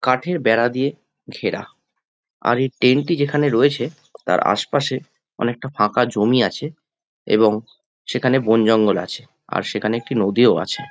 কাঠের বেড়া দিয়ে ঘেরা আর এই টেন্ট টি যেখানে রয়েছে তার আশ পাশে অনেকটা ফাঁকা জমি আছে এবং সেখানে বন জঙ্গল আছে আর সেখানে একটি নদী ও আছে।